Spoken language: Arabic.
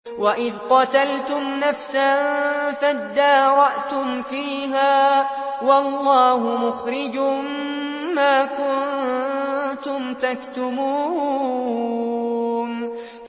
وَإِذْ قَتَلْتُمْ نَفْسًا فَادَّارَأْتُمْ فِيهَا ۖ وَاللَّهُ مُخْرِجٌ مَّا كُنتُمْ تَكْتُمُونَ